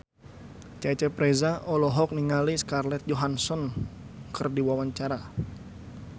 Cecep Reza olohok ningali Scarlett Johansson keur diwawancara